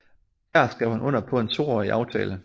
Her skrev han under på en toårig aftale